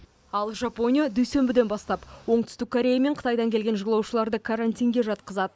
ал жапония дүйсенбіден бастап оңтүстік корея мен қытайдан келген жолаушыларды карантинге жатқызады